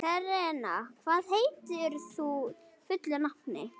Serena, hvað heitir þú fullu nafni?